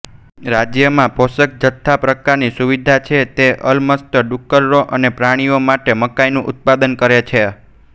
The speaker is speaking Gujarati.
રાજ્યમાં પોષકજથ્થા પ્રકારની સુવિધા છે તે અલમસ્ત ડુક્કરો અને પ્રાણીઓ માટે મકાઈનું ઉત્પાદન કરે છે